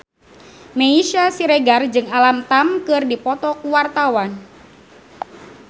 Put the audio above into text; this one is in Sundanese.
Meisya Siregar jeung Alam Tam keur dipoto ku wartawan